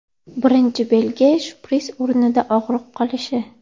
Birinchi belgi shpris o‘rnida og‘riq qolishi.